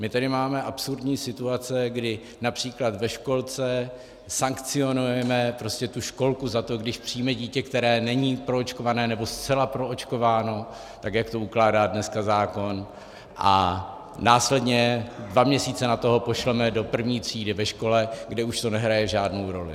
My tady máme absurdní situace, kdy například ve školce sankcionujeme tu školku za to, když přijme dítě, které není proočkováno nebo zcela proočkováno tak, jak to ukládá dneska zákon, a následně dva měsíce nato ho pošleme do první třídy ve škole, kde už to nehraje žádnou roli.